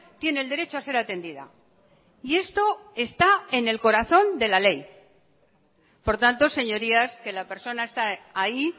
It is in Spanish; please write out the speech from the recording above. tiene el derecho a ser atendida y esto está en el corazón de la ley por tanto señorías que la persona está ahí